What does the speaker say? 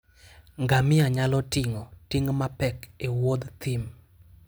Ngamia nyalo ting'o ting' mapek e wuodh thim.